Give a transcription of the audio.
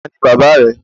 Taani bàbà rẹ